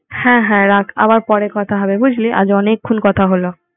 হ্যাঁ হ্যাঁ রাখ আবার পরে কথা হবে বুঝলি আজ অনেক ক্ষণ কথা হলো